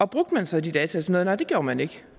brugte man så de data til noget nej det gjorde man ikke